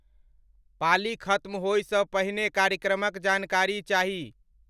पाली ख़त्म होइ स पहिने कार्यक्रमक जानकारी चाहि